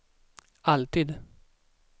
alltid